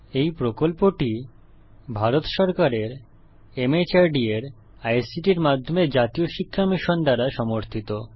এই প্রকল্পটি ভারত সরকারের মাহর্দ এর আইসিটির মাধ্যমে জাতীয় শিক্ষা মিশন দ্বারা সমর্থিত